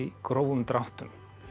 grófum dráttum